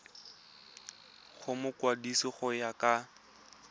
go mokwadise go ya ka